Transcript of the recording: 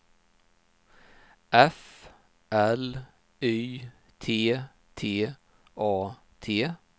F L Y T T A T